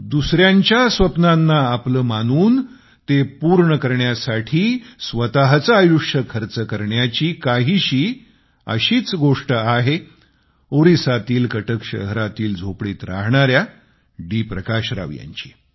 दुसऱ्यांच्या स्वप्नांना आपले मानून ते पूर्ण करण्यासाठी स्वतचे आयुष्य खर्च करण्याची काहीशी अशीच गोष्ट आहे ओरिसातील कटक शहरातील झोपडीत राहणाऱ्या डी प्रकाश राव यांची